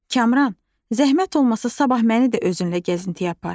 Kamran, zəhmət olmasa sabah məni də özünlə gəzintiyə apar.